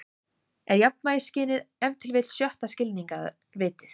Er jafnvægisskynið ef til vill sjötta skilningarvitið?